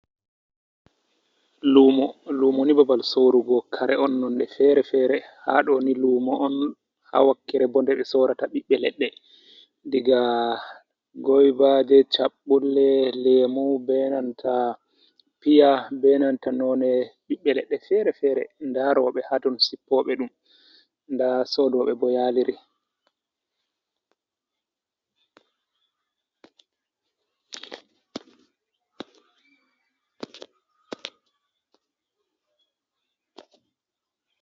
Luumo, lumoni babal Sorrugo kare'on nonde fere-fere, haɗoni lumo'on ha wakkere bo ndeɓe Sorata ɓibbe ledɗe diga goibaje, chabɓulle, lemu, benanta Piya, benanta none ɓibbe ledɗe fere-fere. Nda roɓe haton Sippoɓe ɗum nda Sodoɓebo yaaliri.